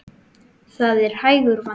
Það er hægur vandi.